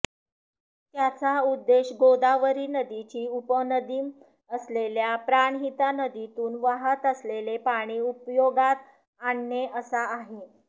त्याचा उद्देश गोदावरी नदीची उपनदी असलेल्या प्राणहिता नदीतून वहात असलेले पाणी उपयोगात आणणे असा आहे